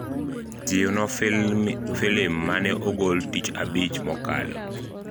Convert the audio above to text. jiwno filim mane ogol tich abich mokalo